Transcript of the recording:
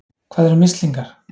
Hvað eru mislingar?